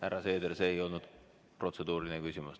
Härra Seeder, see ei olnud protseduuriline küsimus.